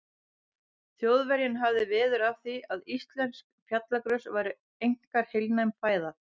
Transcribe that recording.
Þjóðverjinn hafði veður af því, að íslensk fjallagrös væru einkar heilnæm fæða.